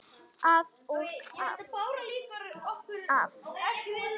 Að og af.